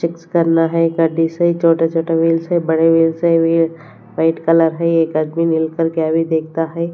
करना है गाडी से छोटा छोटा व्हील्स है बड़े व्हील्स है ये वाइट कलर है एक आदमी देखता है।